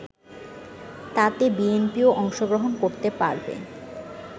তাতে বিএনপিও অংশগ্রহণ করতে পারবে